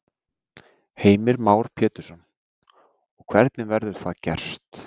Heimir Már Pétursson: Og hvernig verður það gerst?